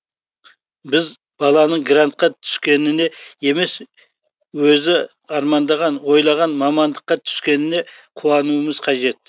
біз баланың грантқа түскеніне емес өзі армандаған ойлаған мамандыққа түскеніне қуануымыз қажет